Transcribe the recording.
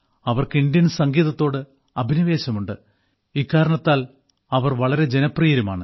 അവർക്ക് ഇന്ത്യൻ സംഗീതത്തോട് അഭിനിവേശമുണ്ട് ഇക്കാരണത്താൽ അവർ വളരെ ജനപ്രിയരുമാണ്